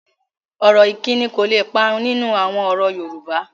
Ọ̀rọ̀ ìkíni kò le parun nínú àwọn ọ̀rọ̀ Yorùbá